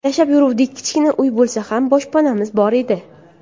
Yashab yuruvdik, kichkina uy bo‘lsa ham boshpanamiz bor edi.